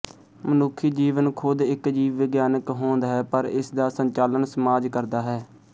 ਮਨੁੱਖੀ ਜੀਵਨ ਖ਼ੁਦ ਇੱਕ ਜੀਵ ਵਿਗਿਆਨਕ ਹੋਂਦ ਹੈ ਪਰ ਇਸ ਦਾ ਸੰਚਾਲਨ ਸਮਾਜ ਕਰਦਾ ਹੈ